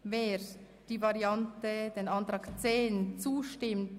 Sie haben dem Ordnungsantrag 10 zugestimmt.